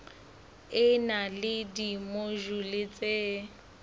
e na le dimojule tse